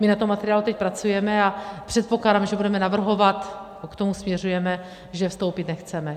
My na tom materiálu teď pracujeme a předpokládáme, že budeme navrhovat, k tomu směřujeme, že vstoupit nechceme.